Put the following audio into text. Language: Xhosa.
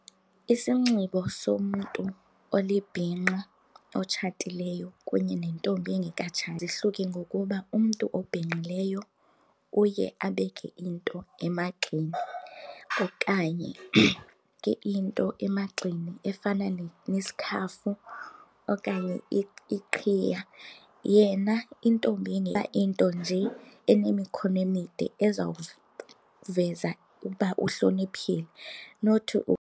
Isinxibo somntu olibhinqa otshatileyo kunye nentombi engekatshati zihluke ngokuba umntu obhinqileyo uye abeke into emagxeni okanye into emagxeni efana nesikhafu okanye iqhiya. Yena intombi into nje enemikhono emide ezawuveza uba uhloniphile, not .